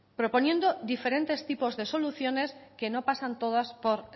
proponiendo diferentes tipos de soluciones que no pasan todas por